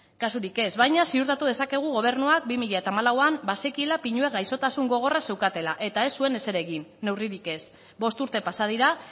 kasurik ez baina ziurtatu dezakegu gobernuak bi mila hamalauan bazekiela pinuek gaixotasun gogorra zeukatela eta ez zuen ezer egin neurrik ez bost urte pasa dira